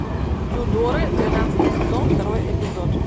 тюдоры двенадцатый сезон второй эпизод